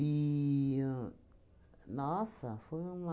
E ahn, nossa, foi uma...